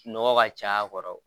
Nɔgɔ ka caya a kɔrɔ